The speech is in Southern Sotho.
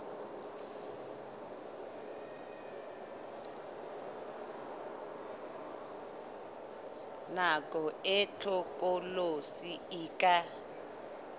nako e hlokolosi e ka